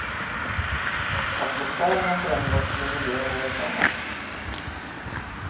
Atmosfären har förändrats, men miljön är densamma.